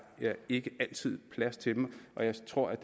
ikke altid plads til dem jeg tror at